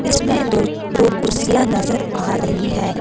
इसमें दो दो कुर्षियां नजर आ रही है।